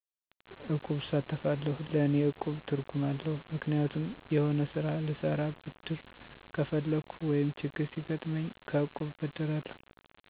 እቁብ እሳተፋለሁ ለእኔ እቁብ ትርጉም አለዉ ምክንያቱም የሆነ ስራ ልሰራ ብድር ከፈለኩ ወይም ችግር ሲገጥመኝ ከእቁብ እበደራለሁ